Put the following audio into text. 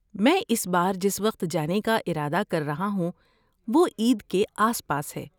میں اس بار جس وقت جانے کا ارادہ کر رہا ہوں وہ عید کے آس پاس ہے۔